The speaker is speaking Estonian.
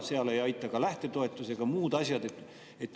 Seal ei aita ka lähtetoetus ega muud asjad.